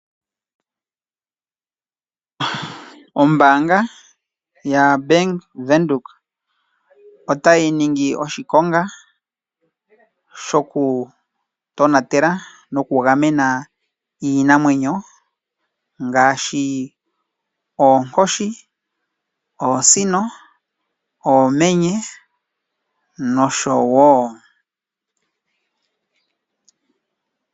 Ombaanga ya Venduka otayi ningi oshikonga shoku tonatela noku gamena iinamwenyo ngaashi oosino, oonkoshi, oomenye nosho tuu.